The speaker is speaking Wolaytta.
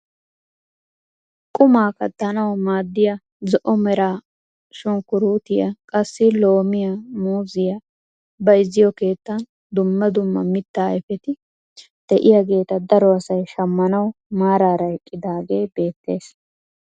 Qumaa kattanawu maaddiyaa zo"o mera shunkuruutiyaa, qassi loomiyaa, muuziyaa bayzziyoo keettan dumma dumma mittaa ayfeti de'iyaageta daro asay shammanawu maarara eqqidaage beettees.